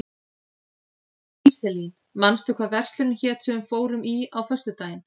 Íselín, manstu hvað verslunin hét sem við fórum í á föstudaginn?